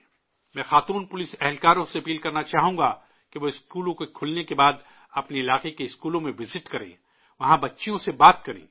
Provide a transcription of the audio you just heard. میں خواتین پولیس سے اپیل کرنا چاہوں گا کہ وہ اسکولوں کے کھلنے کے بعد اپنے علاقے کے اسکولوں میں وزٹ کریں، وہاں بچیوں سے بات کریں